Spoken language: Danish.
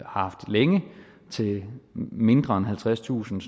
haft længe til mindre end halvtredstusind